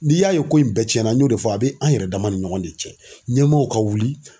N'i y'a ye ko in bɛɛ ciɲɛn na n y'o de fɔ, a be an yɛrɛ dama ni ɲɔgɔn de cɛ. Ɲɛmɔgɔw ka wuli